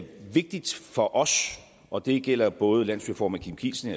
vigtigt for os og det gælder både landsstyreformand kim kielsen